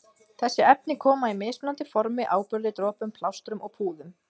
Þessi efni koma í mismunandi formi- áburði, dropum, plástrum og púðum.